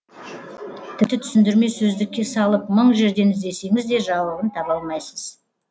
тіпті түсіндірме сөздікке салып мың жерден іздесеңіз де жауабын таба алмайсыз